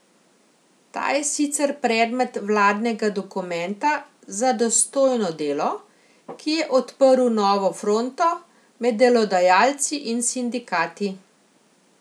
Ta je sicer predmet vladnega dokumenta Za dostojno delo, ki je odprl novo fronto med delodajalci in sindikati.